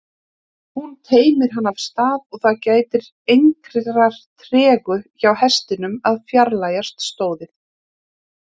Hún teymir hann af stað og það gætir engrar tregðu hjá hestinum að fjarlægjast stóðið.